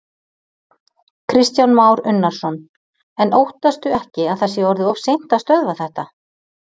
Kristján Már Unnarsson: En óttastu ekki að það sé orðið of seint að stöðva þetta?